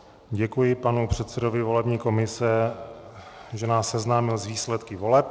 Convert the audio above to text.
Děkuji panu předsedovi volební komise, že nás seznámil s výsledky voleb.